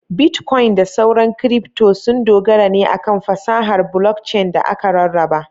Bitkoin da sauran kiripto sun dogara ne akan fasahar blockchain da aka rarraba.